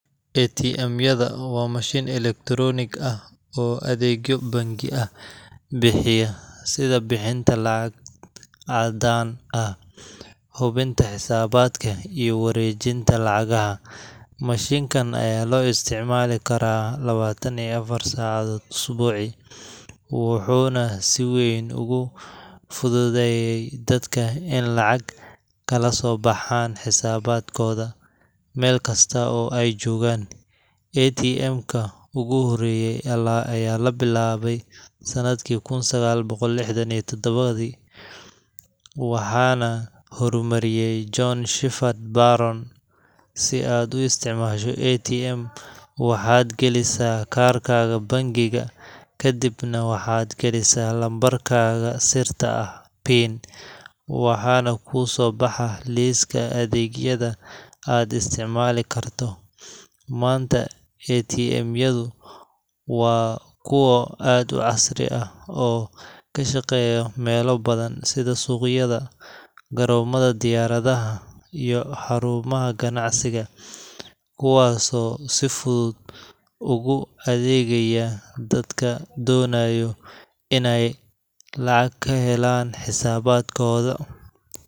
ATM wa machine electronic ah, oo adegyo bank ah, bixiya, sidha bixinta lacag cadaan ah, xubinta xisabadka iyo warejinta lacagaxa, machinkan aya loisticmalikara lawatan iyo afar sacadod isbucii, wuxuna sii weyn ogufududeyey dadka in lacag kalasobaxan xisaabadkod mel kasta oo ay jogaan, atm ka, oguxoreyeyee ayalabilabeysanadki kun saqal bogol lixdan iyo tadawadhi, waxana xormariyey john shufad aron, si aad uisticmasho atm waxad galisaa karkada bankiga, kadiibna waxad galisa nambarkaka sir ta ah, pin waxana kusobaxaa liska adegyada aad isticmalikarto, manta atm yadu, wa kuwa aad ucasri ah oo kashageyo meloo badan, sidhii sugyada, garomadaxa diyarayax, iyo xarumaxa qanacsiga, kuwa oo si fudud ugu adegayaa dadka donayo inay lacag kaxelan xisabadkoda.